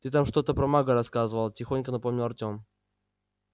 ты там что-то про мага рассказывал тихонько напомнил артём